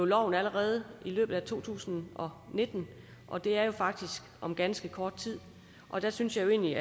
loven allerede i løbet af to tusind og nitten og det er faktisk om ganske kort tid der synes jeg jo egentlig